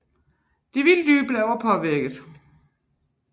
De vilde dyr blev også påvirket